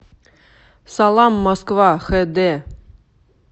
салам москва хд